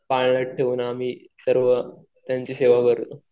पाळण्यात ठेवतो आम्ही सर्व त्यांची सेवा करतो.